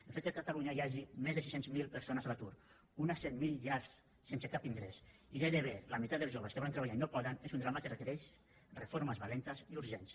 el fet que a catalunya hi hagi més de sis centes mil persones a l’atur unes cent mil ja sense cap ingrés i gairebé la meitat dels joves que volen treballar i no poden és un drama que requereix reformes valentes i urgents